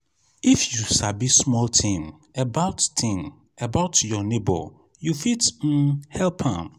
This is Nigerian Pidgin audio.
if you sabi small tin about tin about your nebor you fit um help am.